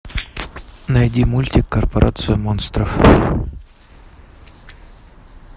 найди мультик корпорацию монстров